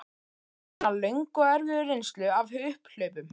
Með alla sína löngu og erfiðu reynslu af upphlaupum